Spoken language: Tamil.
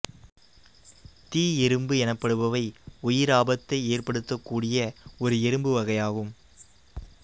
தீ எறும்பு எனப்படுபவை உயிராபத்தை ஏற்படுத்தக்கூடிய ஒரு எறும்பு வகையாகும்